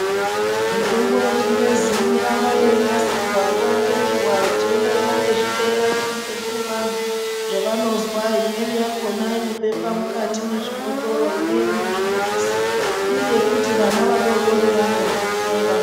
Mitombo yechingezi inoramba yeinasirwa nguwa ngenguwa uechienderana nezvitenda zvinenge zvine vanthu zvavanozwa imweni yakona inobekwe mukati mwezvibhotoro imweni muzvibhokisi iri yekuti vana vadodori vamwe nenguwa yavanorwara.